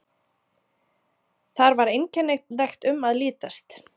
Þar var einkennilegt um að litast.